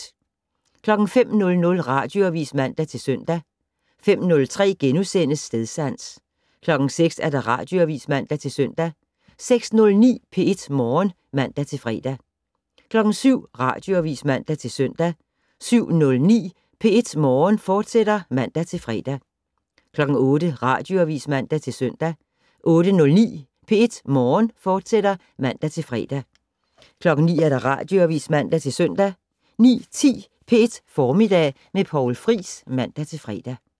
05:00: Radioavis (man-søn) 05:03: Stedsans * 06:00: Radioavis (man-søn) 06:09: P1 Morgen (man-fre) 07:00: Radioavis (man-søn) 07:09: P1 Morgen, fortsat (man-fre) 08:00: Radioavis (man-søn) 08:09: P1 Morgen, fortsat (man-fre) 09:00: Radioavis (man-søn) 09:10: P1 Formiddag med Poul Friis (man-fre)